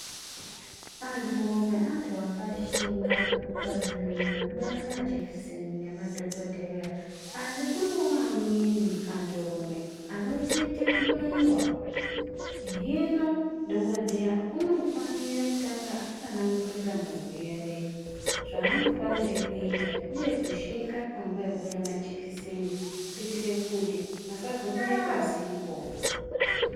Anturume antu akashinga, pazvinhu zvekubaya majekiseni nemadhokodheya. Asi kunewo amweni anturume anotete kubaiwa. Hino Dhokodheya unofanira kutanga atsanangurira murwere zvaanofanire kuita, uye kushinga panguwa yekubaiwa majekiseni kuitire kuti asazobaye pasipo.